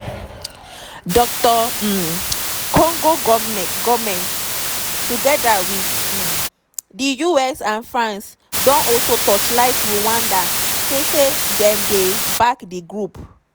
dr um congo goment togeda wit um di us and france don also torchlight rwanda say say dem dey back di group.